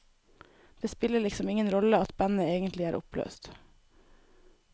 Det spiller liksom ingen rolle at bandet egentlig er oppløst.